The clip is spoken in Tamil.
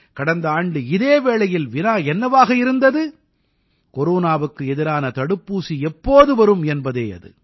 கடந்த ஆண்டு இதே வேளையில் வினா என்னவாக இருந்தது கொரோனாவுக்கு எதிரான தடுப்பூசி எப்போது வரும் என்பதே அது